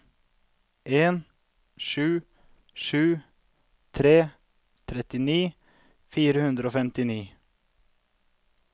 en sju sju tre trettini fire hundre og femtini